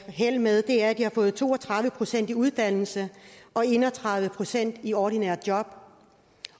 held med er at de har fået to og tredive procent i uddannelse og en og tredive procent i ordinære job